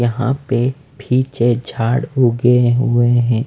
यहाँ पे फीचे झाड़ उगे हुए हैं।